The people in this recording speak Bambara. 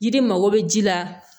Jiri mago bɛ ji la